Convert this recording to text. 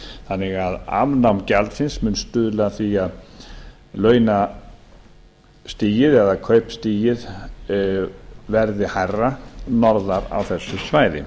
þannig að afnám gjaldsins mun stuðla að því að launastigið eða kaupstigið verði hærra norðar á þessu svæði